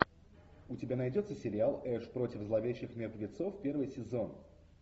у тебя найдется сериал эш против зловещих мертвецов первый сезон